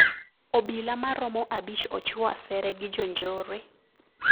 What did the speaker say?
Obila maromo abich ochuo asere gi jonjore